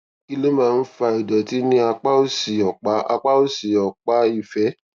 kí ló máa ń fa ìdòtí ní apá òsì òpá apá òsì òpá ìfé